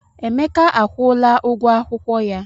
Emeka akwụla ụgwọ akwụkwọ ya.